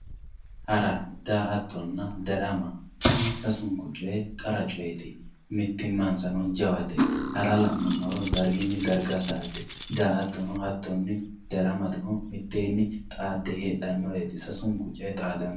Hara, daa'attonna, darama kuni sasunku coyi qara cooyeeti, mitimansano jawata, hara la'numoha darigini dariga sa'ate daa'attono hattonni daramano mitteenni xaade heedhanoreeti sasunku coyi xaadano